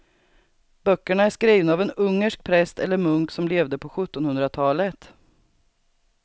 Böckerna är skrivna av en ungersk präst eller munk som levde på sjuttonhundratalet.